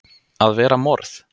AÐ VERA MORÐ!